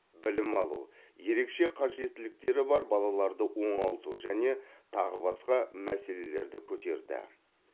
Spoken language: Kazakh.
білім алу ерекше қажеттіліктері бар балаларды оңалту және тағы басқа мәселелерді көтерді